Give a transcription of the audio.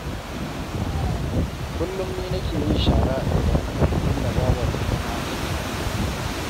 Kullum ni nake yin shara a gidanmu, inda babarmu kuma take yin girki